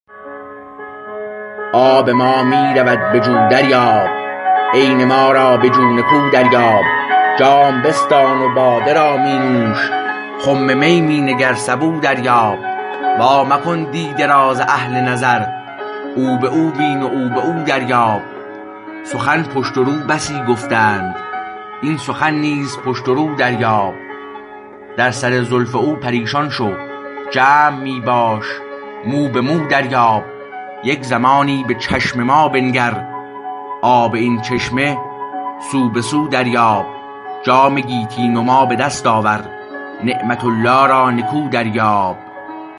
آب ما می رود بجو دریاب عین ما را بجو نکو دریاب جام بستان و باده را می نوش خم می می نگر سبو دریاب وا مکن دیده را ز اهل نظر او به او بین و او به او دریاب سخن پشت و رو بسی گفتند این سخن نیز پشت و رو دریاب در سر زلف او پریشان شو جمع می باش مو به مو دریاب یک زمانی به چشم ما بنگر آب این چشمه سو به سو دریاب جام گیتی نما به دست آور نعمت الله را نکو دریاب